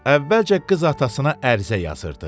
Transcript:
Əvvəlcə qız atasına ərizə yazırdı.